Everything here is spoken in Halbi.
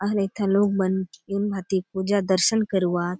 आउर एथा लोग मन एहुन भांति पुजा दर्शन करुआत।